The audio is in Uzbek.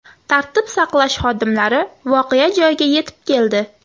Tartib saqlash xodimlari voqea joyiga yetib keldi.